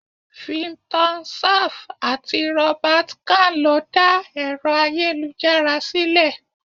Vinton Cerf àti Robert Khan lo dá Ẹ̀rọ ayélujára sílè.